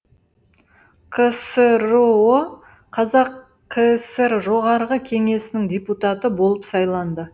ксро қазақ кср жоғарғы кеңесінің депутаты болып сайланды